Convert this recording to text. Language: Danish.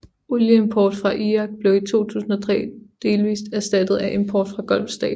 Olieimport fra Irak blev i 2003 delvis erstattet af import fra Golfstaterne